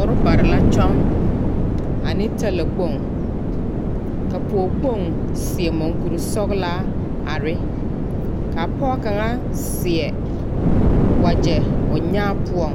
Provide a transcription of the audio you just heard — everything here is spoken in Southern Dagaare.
Orobare la kyɔŋ ane talakpoŋ, ka pɔge kpoŋ seɛ muŋkuri sɛgelaa are. Ka pɔge kaŋa seɛ wagyɛ poɔŋ